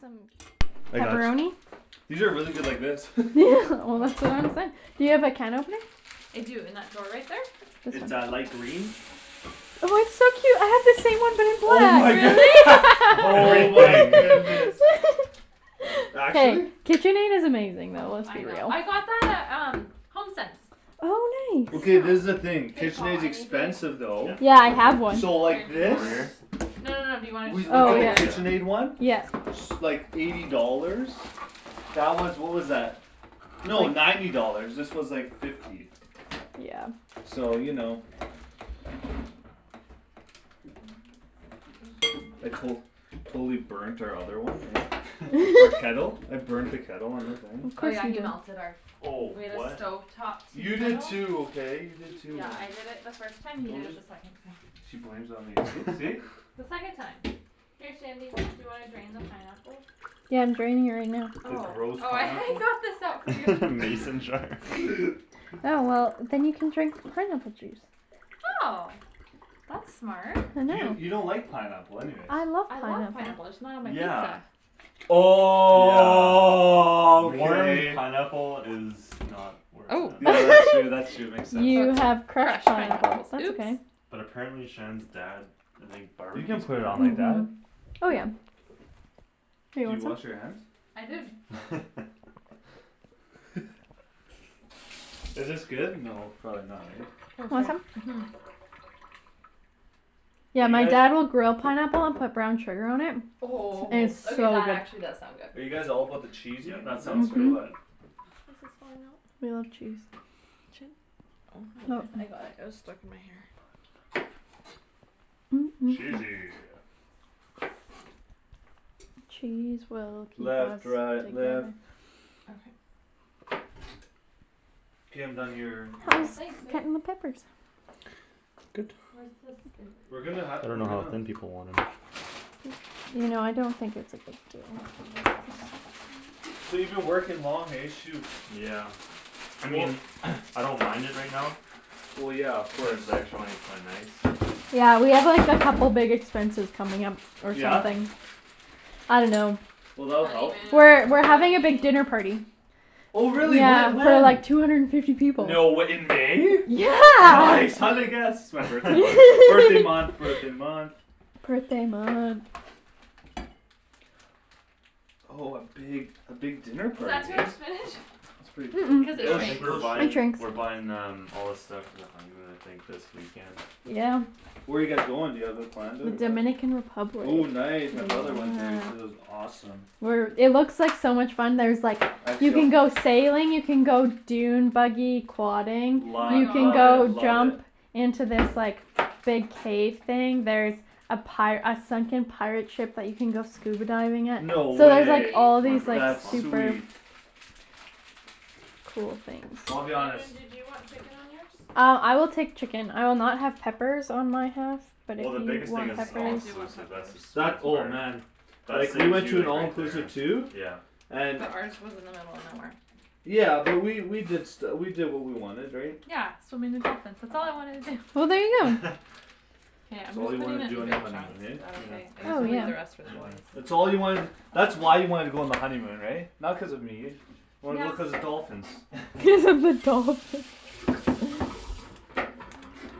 some I got ch- pepperoni? These are really good like this Well that's what Do you have a can opener? I do, in that drawer right there? It's a light green Oh it's so cute, I have the same one but Oh my a cat good- Really? Oh my Everything goodness Actually? KitchenAid is amazing though, Oh, let's I be know, real I got that at um, HomeSense Oh I Okay, nice this is the know thing, K Paul, KitchenAid's I need the expensive though Yeah Yeah I have one So Here, like do you this? Over wanna here? No no no, do you wanna We looked Oh at the Oh yeah yeah just KitchenAid one Yep S- like, eighty dollars That was, what was that? No, ninety dollars, this was like fifty Yeah So you know I col- Totally burnt our other one, eh? Our kettle? I burnt the kettle on the thing Oh Course yeah you he melted our do Oh We had a what stove top tea You did kettle too, okay? You did too Yeah on- I did it first time, you Don't did it just the second time She blames it on me, see see? The second time Here Shandy, do you wanna drain the pineapple? Yeah I'm draining it right now The Oh, gross oh I I pineapple? got this out for you Mason jar Yeah well, then you can drink the pineapple juice Oh That's smart I Do you, know you don't like pineapple anyways I love I love pineapple pineapple, I just not on my Yeah pizza Yeah Warm Okay pineapple is not where it's Oh Oh at Yeah that's true that's true, makes sense You have crushed pineapples That's oops okay But apparently Shan's dad, I think You barbecues can't put it on like pineapple? that Mhm Oh yeah Here you Did you want wash your hands? some? I did Is this good? No, probably not right? Want some? Mhm Do Yeah you my guys dad will grill pineapple and put brown sugar on it Oh, It's so okay that good actually does sound Are good you guys all about the Yeah that sounds cheesiness or good Mhm what This is falling off We love cheese Oh, I got it, it was stuck in my hair Mm mm mm Cheesy Cheese will keep us Left right left together Okay K I'm done your, Oh, your thanks babe, more peppers Good Where's the We're spinach? gonna ha- I we're dunno how gonna thin people want them You know I don't think it's a good deal So you been working long, hey? Shoot Yeah I Well mean I don't mind it right now Well yeah of Cuz course the extra money's kinda nice Yeah we have like a couple big expenses coming up, or Yeah? something I dunno Well that'll help We're Honeymoon, we're having a big wedding dinner party Oh really? Yeah Whe- for when? like two hundred and fifty people No way, in May? Yeah Nice, how'd I guess? It's my birthday month, birthday month birthday month Birthday month Oh a big, a big dinner Was party, that too eh? much spinach? That's pretty cool, Cuz it it Yeah will I sh- think it we're will shrinks shrink It buying, shrinks we're buying um all the stuff for the honeymoon I think this weekend Yeah Where you guys going, do you have it planned out? Dominican Republic Ooh nice, my brother went there, he said it was awesome We're it looks like so much fun, there's like, you Actually I'll can go sailing, you can go dune buggy quadding Oh my Lo- You can love it, go gosh love it jump into this like, big cave thing, there's a pi- a sunken pirate ship that you can go scuba diving at No So Really? there's like way all Wanna these draw like That's stuff on? super sweet Cool things Well I'll be honest Shandryn do you want chicken on yours? Uh, I will take chicken, I will not have peppers on my half But if Well the you biggest thing want it's Okay, it's all I peppers do want inclusive, that's the peppers That, sweetest oh part man That Like, we saves went to you an like right all-inclusive there too Yeah And But ours was in the middle of nowhere Yeah, but we, we did stu- we did what we wanted, right? Yeah, swimming with dolphins, that's all I wanted to do Well there you go K, That's I'm all just you putting wanted to it do in on your big honeymoon, chunks, is that eh? okay? I guess Oh we'll leave the yeah rest for the That's boys fine That's all you wanted, that's why you wanted to go on the honeymoon, right? Not cuz of me Wanted to go Yeah cuz of the dolphins Cuz of the dolphins